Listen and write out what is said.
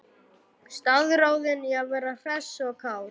Staðráðin í að vera hress og kát.